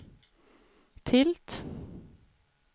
tilt